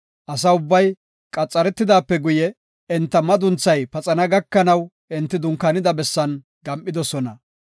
Asa ubbay, qaxaretidaape guye, enta madunthay paxana gakanaw enti dunkaanida bessan gam7idosona.